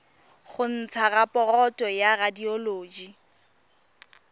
go ntsha raporoto ya radioloji